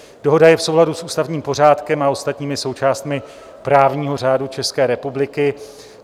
Dohoda je v souladu s ústavním pořádkem a ostatními součástmi právního řádu České republiky.